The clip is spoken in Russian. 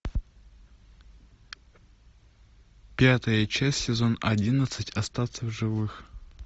пятая часть сезон одиннадцать остаться в живых